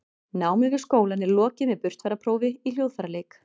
námi við skólann er lokið með burtfararprófi í hljóðfæraleik